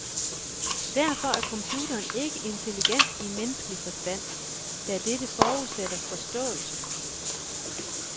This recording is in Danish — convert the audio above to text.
Derfor er computeren ikke intelligent i menneskelig forstand, da dette forudsætter forståelse.